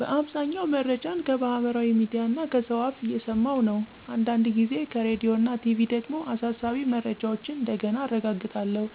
በአብዛኛው መረጃን ከማህበራዊ ሚድያ (Facebook, Telegram, TikTok ወዘተ) እና ከሰው አፍ እየሰማኩ ነው። አንዳንድ ጊዜ ከራዲዮና ቲቪ ደግሞ አሳሳቢ መረጃዎችን እንደገና አረጋግጣለሁ።